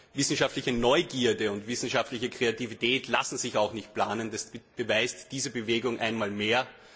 Wissenschaftliche Neugierde und wissenschaftliche Kreativität lassen sich auch nicht planen, das beweist diese Bewegung einmal mehr.